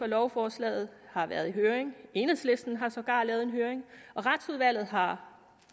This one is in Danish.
lovforslaget har været i høring enhedslisten har sågar lavet en høring og retsudvalget har